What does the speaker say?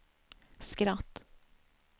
skratt